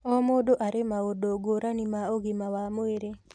O mũndũ arĩ maũndũ ngũrani ma ũgima wa mwĩrĩ